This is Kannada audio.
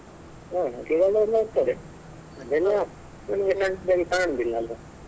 ಹ ಹಕ್ಕಿಗಳೆಲ್ಲ ಇರ್ತದೆ ಅದೆಲ್ಲ ನಮ್ಗೆ ಕಾಣುದಿಲ್ಲ ಅಲ್ಲ.